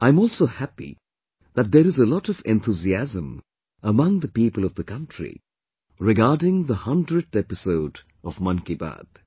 I'm also happy that there is a lot of enthusiasm among the people of the country regarding the hundredth 100th episode of Mann Ki Baat